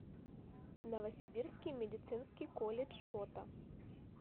новосибирский медицинский колледж фото